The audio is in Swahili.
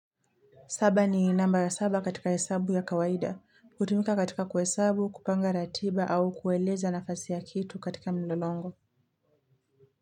Saba ni namba ya saba katika hesabu ya kawaida, kutumika katika kwa hesabu, kupanga ratiba au kueleza nafasi ya kitu katika mlolongo.